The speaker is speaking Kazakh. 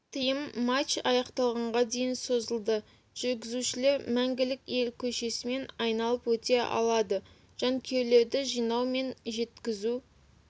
тыйым матч аяқталғанға дейін созылады жүргізушілер мәңгілік ел көшесімен айналып өте алады жанкүйерлерді жинау мен жеткізу